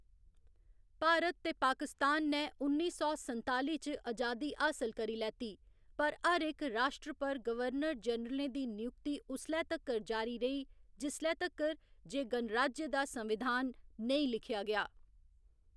भारत ते पाकिस्तान ने उन्नी सौ संताली च अजादी हासल करी लैती, पर हर इक राश्ट्र पर गवर्नर जनरलें दी नियुक्ति उसलै तक्कर जारी रेही जिसलै तक्कर जे गणराज्य दा संविधान नेईं लिखेआ गेआ।